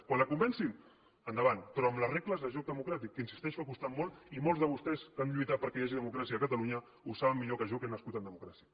quan la convencin endavant però amb les regles de joc democràtic que insisteixo han costat molt i molts de vostès que han lluitat perquè hi hagi democràcia a catalunya ho saben millor que jo que he nascut en democràcia